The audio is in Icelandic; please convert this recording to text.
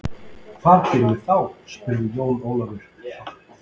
Hvað gerum við þá spurði Jón Ólafur hratt.